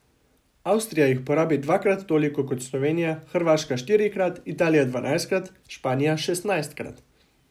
Avstrija jih porabi dvakrat toliko kot Slovenija, Hrvaška štirikrat, Italija dvanajstkrat, Španija šestnajstkrat.